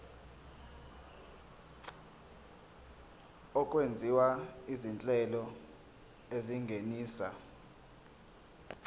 okwenziwa izinhlelo ezingenisa